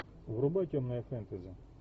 врубай темное фэнтези